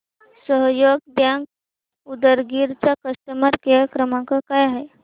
सहयोग बँक उदगीर चा customer care क्रमांक काय आहे